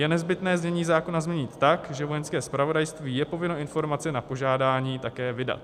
Je nezbytné znění zákona změnit tak, že Vojenské zpravodajství je povinno informace na požádání také vydat.